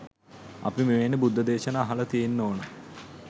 අපි මෙවැනි බුද්ධ දේශනා අහලා තියෙන්න ඕන